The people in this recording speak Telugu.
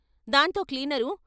దాంతో క్లీనరు...